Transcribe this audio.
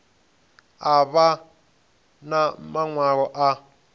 a vha na maṅwalo a